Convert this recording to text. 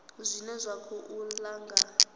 zwine zwa khou ḓa nga